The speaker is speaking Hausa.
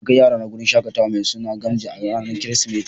N'na kai yara na wurin shakatawa mai suna Gamji a'ranan kiristimeti.